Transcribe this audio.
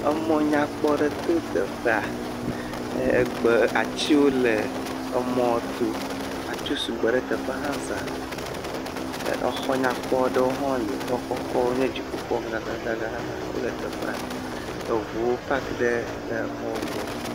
Emɔ nyakpɔ aɖe to teƒa egbe ati wo le emɔ to, atiwo sugbɔ ɖe teƒa hã zã. Exɔ nyakpɔ aɖewo hã li, exɔkɔkɔ wo nye dziƒo xɔ gã gã gã gã wole teƒa, eʋuwo pak ɖe exɔwo gbɔ.